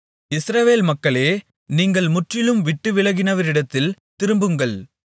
இஸ்ரவேல் மக்களே நீங்கள் முற்றிலும் விட்டுவிலகினவரிடத்தில் திரும்புங்கள்